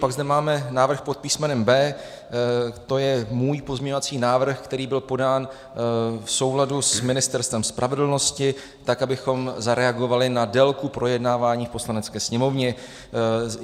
Pak zde máme návrh pod písmenem B, to je můj pozměňovací návrh, který byl podán v souladu s Ministerstvem spravedlnosti, tak abychom zareagovali na délku projednávání v Poslanecké sněmovně.